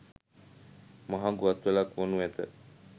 මහඟු අත්වැලක් වනු ඇත.